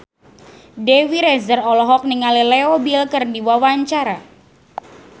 Dewi Rezer olohok ningali Leo Bill keur diwawancara